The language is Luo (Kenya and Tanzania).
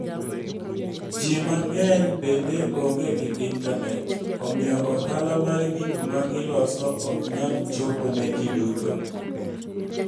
Ji mang'eny bende onge gi intanet, omiyo ohala mar gik ma giloso ok nyal chopo ne ji duto.